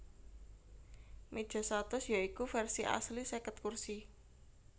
Meja satus ya iku versi asli seket kursi